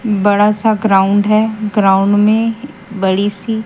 बड़ा सा ग्राउंड है ग्राउंड में बड़ी सी--